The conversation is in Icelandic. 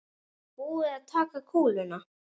Er búið að taka kúluna?